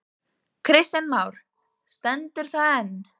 Kristján Már: Stendur það enn?